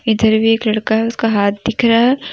इधर भी एक लड़का है उसका हाथ दिख रहा है।